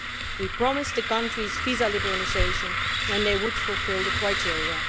We promised the countries visa liberalisation when they fulfilled the criteria.